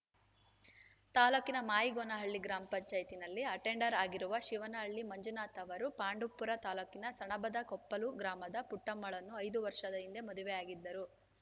ತಾಲೂಕಿನ ಮಾಯಿಗೋನಹಳ್ಳಿ ಗ್ರಾಮ ಪಂಚಾಯತ್ತಿ ನಲ್ಲಿ ಅಟೆಂಡರ್‌ ಆಗಿರುವ ಶಿವನಹಳ್ಳಿ ಮಂಜುನಾಥ್‌ ಅವರು ಪಾಂಡವಪುರ ತಾಲೂಕಿನ ಸಣಬದಕೊಪ್ಪಲು ಗ್ರಾಮದ ಪುಟ್ಟಮ್ಮಳನ್ನು ಐದು ವರ್ಷದ ಹಿಂದೆ ಮದುವೆಯಾಗಿದ್ದರು